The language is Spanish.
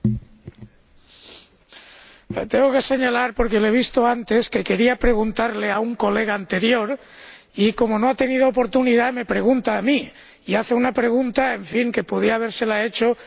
Tengo que señalar ―porque lo he visto antes― que quería formular una pregunta a un colega anterior y, como no ha tenido la oportunidad de hacerlo, me pregunta a mí y hace un pregunta, en fin, que podía habérsela hecho a cualquier otro miembro de la Cámara.